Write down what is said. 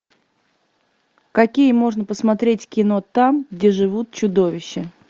какие можно посмотреть кино там где живут чудовища